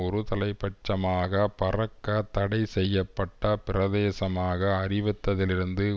ஒரு தலைப்பட்டசமாக பறக்க தடைசெய்ய பட்ட பிரதேசமாக அறிவித்ததிலிருந்து